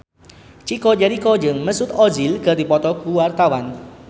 Chico Jericho jeung Mesut Ozil keur dipoto ku wartawan